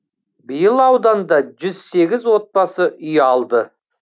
биыл ауданда жүз сегіз отбасы үй алды